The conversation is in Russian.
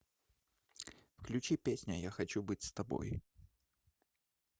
включи песня я хочу быть с тобой